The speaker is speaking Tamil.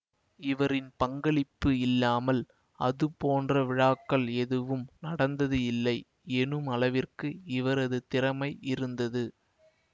இவரின் பங்களிப்பு இல்லாமல் அதுபோன்ற விழாக்கள் எதுவும் நடந்தது இல்லை எனுமளவிற்கு இவரது திறமை இருந்தது